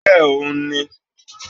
B6yh òun ni